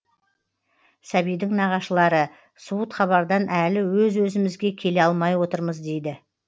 сәбидің нағашылары суыт хабардан әлі өз өзімізге келе алмай отырмыз дейді